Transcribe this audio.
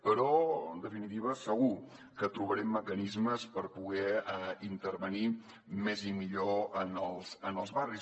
però en definitiva segur que trobarem mecanismes per poder intervenir més i millor en els barris